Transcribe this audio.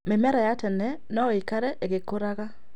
Mĩmera ya tene no ĩikare ĩgĩkũraga